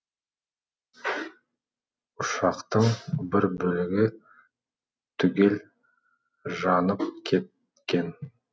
ұшақтың бір бөлігі түгел жанып кеткен